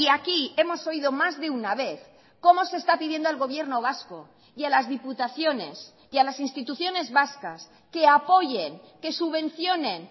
aquí hemos oído más de una vez cómo se está pidiendo al gobierno vasco y a las diputaciones y a las instituciones vascas que apoyen que subvencionen